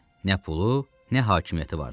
Nə pulu, nə hakimiyyəti vardı.